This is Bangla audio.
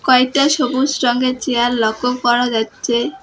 কয়েকটা সবুজ রঙের চেয়ার লক্ষ্য করা যাচ্ছে।